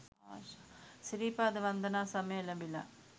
සිරිපාද වන්දනා සමය එලඹිලා.